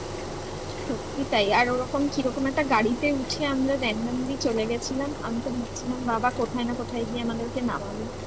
সত্যি তাই আর ওরকম কিরকম একটা গাড়িতে উঠে আমরা randomly চলে গেছিলাম আমি তো ভাবছিলাম বাবা কোথায় না কোথায় গিয়ে আমাদেরকে নামাবে